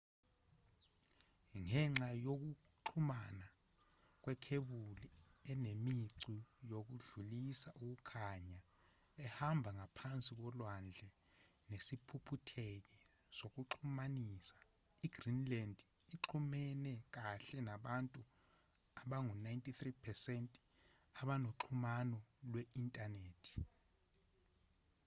ngenxa yokuxhumana kwekhebuli enemicu yokudlulisa ukukhaya ehamba ngaphansi kolwandle nesiphuphutheki sokuxhumanisa i-greenland uxhumene kahle nabantu abangu-93% abanoxhumano lwe-inthanethi